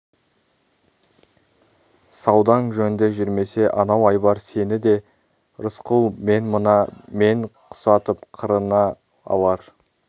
саудаң жөнді жүрмесе анау айбар сені де рысқұл мен мына мен құсатып қырына алар